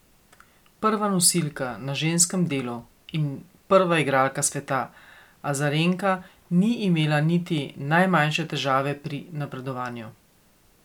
Prva nosilka na ženskem delu in prva igralka sveta Azarenka ni imela niti najmanjše težave pri napredovanju.